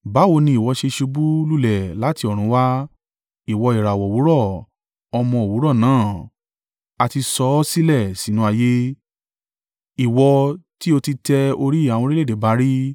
Báwo ni ìwọ ṣe ṣubú lulẹ̀ láti ọ̀run wá, ìwọ ìràwọ̀ òwúrọ̀, ọmọ òwúrọ̀ náà! A ti sọ ọ́ sílẹ̀ sínú ayé, ìwọ tí o ti tẹ orí àwọn orílẹ̀-èdè ba rí!